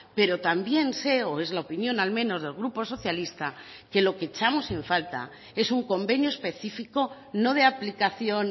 pero también sé o es la opinión al menos del grupo socialista que lo que echamos en falta es un convenio específico no de aplicación